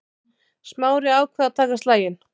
Smári ákvað að taka slaginn.